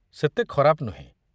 ସେତେ ଖରାପ ନୁହେଁ